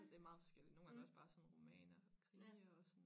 Det meget forskelligt nogen gange er det også bare sådan romaner og krimier og sådan